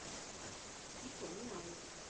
кико милано